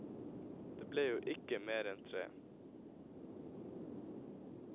Det ble jo ikke mer enn tre.